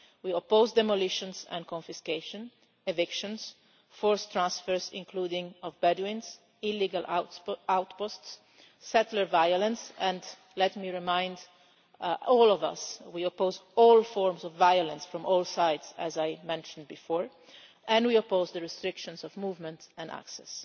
We oppose demolitions and confiscations, evictions, forced transfers, including of Bedouins, illegal outposts, settler violence and let me remind all of us we oppose all forms of violence on all sides, as I mentioned before, and we oppose the restrictions of movement and access.